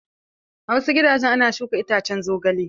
A wasu gidajen ana shuka iccen zogale.